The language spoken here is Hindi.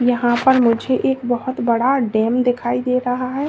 यहां पर मुझे एक बहोत बड़ा डैम दिखाई दे रहा है।